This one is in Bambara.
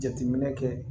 Jateminɛ kɛ